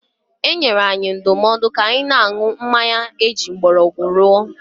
E nyere anyị ndụmọdụ ka anyị na-aṅụ mmanya eji mgbọrọgwụ rụọ.